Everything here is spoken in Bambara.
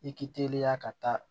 I k'i teliya ka taa